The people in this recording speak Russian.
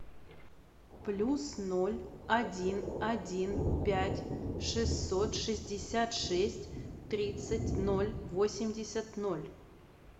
плюс ноль один один пять шестьсот шестьдесят шесть тридцать ноль восемьдесят ноль